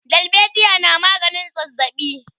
dalbejiya na maganin zazzabi